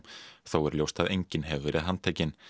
þó er ljóst að enginn hefur verið handtekinn